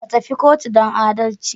Ka tafi kotu don adalci